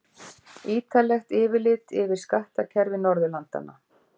Ýtarlegt yfirlit yfir skattkerfi Norðurlandanna.